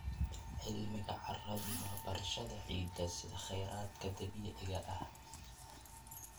Cilmiga carradu waa barashada ciidda sida kheyraadka dabiiciga ah.